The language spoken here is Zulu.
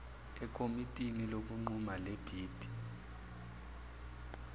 ekomitini lokunquma lebhidi